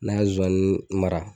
Ne ka zozani mara.